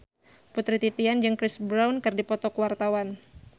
Putri Titian jeung Chris Brown keur dipoto ku wartawan